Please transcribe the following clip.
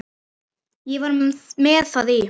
Ég var með það í